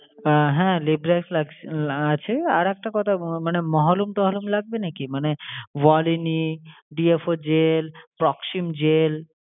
আহ হ্যাঁ lip brush আহ আছে। আর একটা কথা মানে মহলম টহলম লাগবে নাকি মানে volini DFO gel, proxym gel?